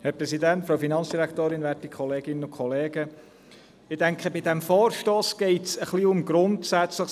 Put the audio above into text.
Ich denke, bei diesem Vorstoss geht es um Grundsätzliches.